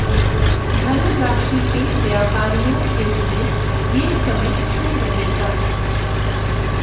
धनु राशि के व्यापारियों के लिए ये समय शुभ रहेगा